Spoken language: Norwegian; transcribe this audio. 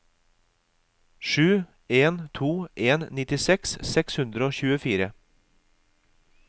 sju en to en nittiseks seks hundre og tjuefire